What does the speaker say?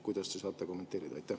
Kuidas te seda kommenteerite?